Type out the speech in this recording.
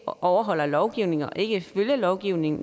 overholder lovgivningen og ikke følger lovgivningen